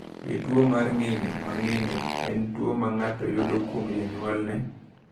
Be tuo mar ng’injo ma ng’injo en tuo ma ng’ato yudo kuom jonyuolne?